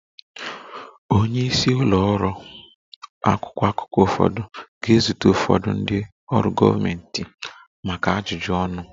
Onye isi ụlọ ọrụ akwụkwọ akụkọ ụfọdụ ga-ezute ụfọdụ ndị ọrụ gọọmentị maka ajụjụ ọnụ